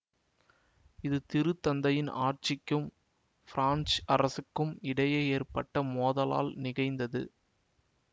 இது திருத்தந்தையின் ஆட்சிக்கும் பிரான்சு அரசுக்கும் இடையே ஏற்பட்ட மோதலால் நிகழ்ந்தது